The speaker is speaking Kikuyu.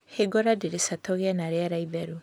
Hingũra ndirica tũgĩe na rĩera itheru